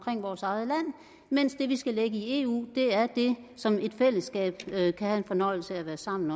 vores eget land mens det vi skal lægge i eu er det som et fællesskab kan have fornøjelse af at være sammen